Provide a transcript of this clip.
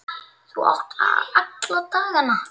Þú átt alla dagana.